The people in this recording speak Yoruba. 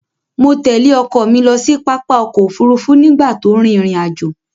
Mo tẹ̀lé ọkọ mi lọ sí pápá ọ̀kọ̀-òfurufú nígbà tó n rin ìrìn-àjọ̀.